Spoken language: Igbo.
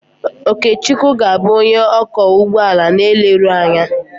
Okechukwu ga-abụ onye ọkwọ ụgbọala na eleru anya.